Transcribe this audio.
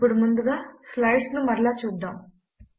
ఇప్పుడు ముందుగా స్లైడ్స్ ను మరలా చూద్దాము